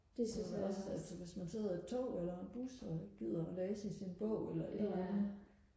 også altså hvis man sidder i et tog eller en bus og ikke gider og læse i sin bog eller et eller andet